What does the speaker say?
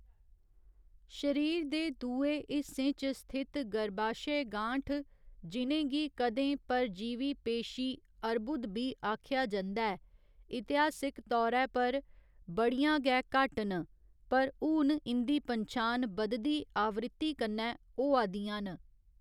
शरीर दे दूए हिस्सें च स्थित गर्भाशय गांठ, जि'नें गी कदें परजीवी पेशी अर्बुद बी आखेआ जंदा ऐ, इतिहासक तौरे पर बड़ियां गै घट्ट न पर हून इं'दी पन्छान बधदी आवृत्ति कन्नै होआ दियां न।